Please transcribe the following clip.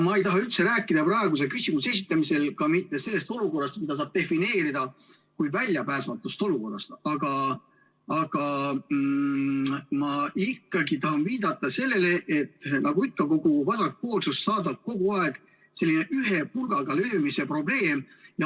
Ma ei taha ka praeguse küsimuse esitamisel üldse rääkida sellest olukorrast, mida saab defineerida kui väljapääsmatut olukorda, aga samas tahan viidata sellele, et nagu ikka saadab kogu vasakpoolsust kogu aeg selline ühe pulgaga löömise põhimõte.